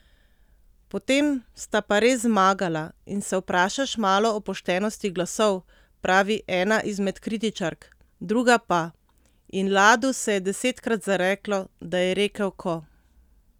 Potem sta pa res zmagala in se vprašaš malo o poštenosti glasov,' pravi ena izmed kritičark, druga pa: 'In Ladu se je desetkrat zareklo, da je rekel 'ko'.